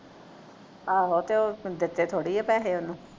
ਆਹੋ ਕੇ ਉਹ ਦਿਤੇ ਥੋੜੀ ਆ ਪੈਸੇ ਉਹਨੂੰ